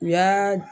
U y'aa